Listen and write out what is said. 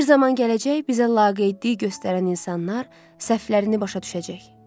Bir zaman gələcək, bizə laqeydlik göstərən insanlar səhvlərini başa düşəcək.